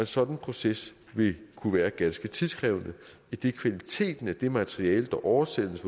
sådan proces vil kunne være ganske tidskrævende idet kvaliteten af det materiale der oversættes